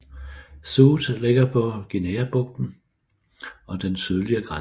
Sud ligger på Guineabrugten og den sydlige grænse